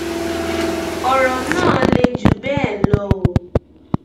ọrọ náà le jù bẹẹ lọ o